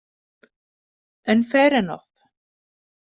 En fair enough.